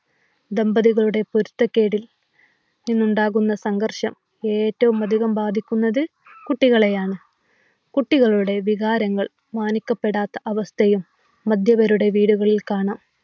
ദമ്പതികളുടെ പൊരുത്തക്കേടിൽ നിന്നുണ്ടാവുന്ന സംഘർഷം ഏറ്റവുമധികം ബാധിക്കുന്നത് കുട്ടികളെയാണ്. കുട്ടികളുടെ വികാരങ്ങൾ മാനിക്കപ്പെടാത്ത അവസ്ഥയും മദ്യപരുടെ വീടുകളിൽ കാണാം.